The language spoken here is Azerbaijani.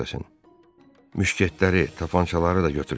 Müşketləri, tapançaları da götürsün.